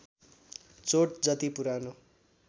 चोट जति पुरानो